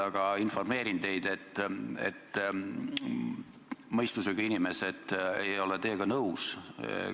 Aga ma informeerin teid, et mõistusega inimesed ei ole teiega nõus.